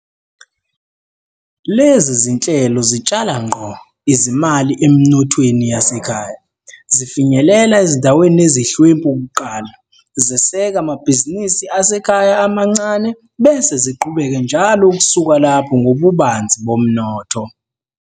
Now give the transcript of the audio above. Lezi zinhlelo zitshala ngqo izimali eminothweni yasekhaya, zifinyelela ezindaweni ezihlwempu kuqala, zeseka amabhizinisi asekhaya amancane bese ziqhubeke njalo ukusuka lapho ngobubanzi bomnotho.